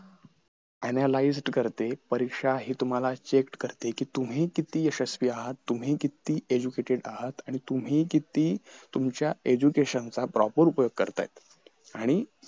analyse करते परीक्षा हि तुम्हाला check कि तुम्ही किती यशस्वी आहात तुम्ही किती educated आहात आणि तुम्ही किती तुमच्या education चा proper उपयोग करता येत आणि